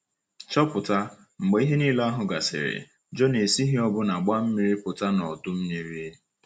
Chọpụta — mgbe ihe niile ahụ gasịrị, Jona esighị ọbụna gbaa mmiri pụta n’ọdụ mmiri!